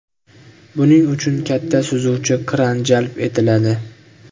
Buning uchun katta suzuvchi kran jalb etiladi.